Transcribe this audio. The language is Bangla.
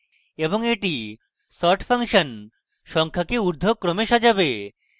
এবং এটি sort ফাংশন সংখ্যাকে ঊর্ধ্বক্রমে সাজাবে